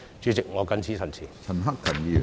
主席，我謹此陳辭。